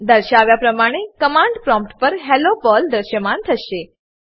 દર્શાવ્યા પ્રમાણે command prompt પર હેલ્લો પર્લ દ્રશ્યમાન થશે